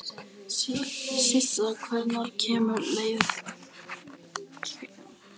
Sissa, hvenær kemur leið númer tuttugu og fjögur?